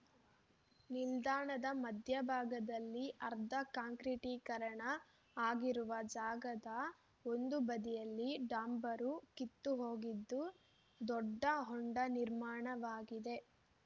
ನಿಲ್ದಾಣದ ಮಧ್ಯಭಾಗದಲ್ಲಿ ಅರ್ಧ ಕಾಂಕ್ರೀಟಿಕರಣ ಆಗಿರುವ ಜಾಗದ ಒಂದು ಬದಿಯಲ್ಲಿ ಡಾಂಬರು ಕಿತ್ತು ಹೋಗಿದ್ದು ದೊಡ್ಡ ಹೊಂಡ ನಿರ್ಮಾಣವಾಗಿದೆ